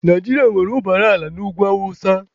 Naijiria nwere ụbara ala n'ugwu awụsa.